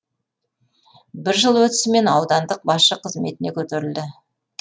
бір жыл өтісімен аудандық басшы қызметіне көтерілді